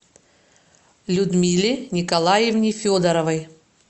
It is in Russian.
людмиле николаевне федоровой